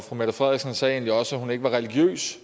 fru mette frederiksen sagde egentlig også at hun ikke var religiøs